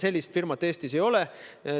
Sellist firmat Eestis ei ole.